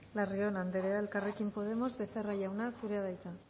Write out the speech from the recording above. larrión anderea elkarrekin podemos becerra jauna zurea da hitza